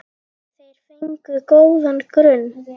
Það er nú liðin tíð.